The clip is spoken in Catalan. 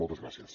moltes gràcies